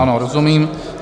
Ano, rozumím.